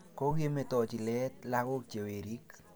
Kokemetochi leet lagok che werik